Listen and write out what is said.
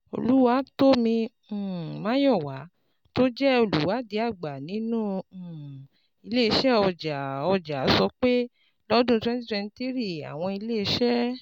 Oluwatomi um Mayowa, tó jẹ́ olùwádìí àgbà nínú um Ile-iṣẹ Ọja Ọja, sọ pé lọ́dún 2023, àwọn iléeṣẹ́